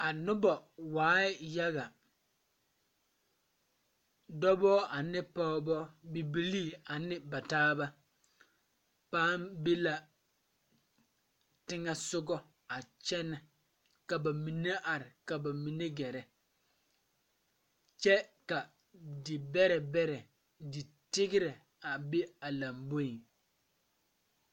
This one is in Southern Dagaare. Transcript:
A nobɔ waai yaga dɔbɔ ane pɔɔbɔ bibilii ane ba taaba paŋ be la teŋɛsugɔ a kyɛnɛ ka ba mine are ka ba mine gɛrɛ kyɛ ka di bɛrɛ bɛrɛ di tigrɛ a be a lamboeŋ.